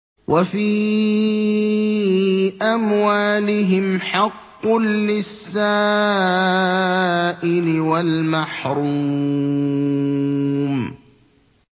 وَفِي أَمْوَالِهِمْ حَقٌّ لِّلسَّائِلِ وَالْمَحْرُومِ